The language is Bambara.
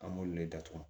An b'olu le datugu